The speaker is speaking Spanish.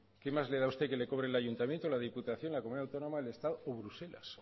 qué más le da usted que le cobre el ayuntamiento la diputación la comunidad autónoma el estado o bruselas